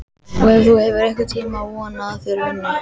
Og hefur þú einhvern tímann vonað að þeir vinni?